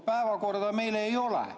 Päevakorda meil ei ole.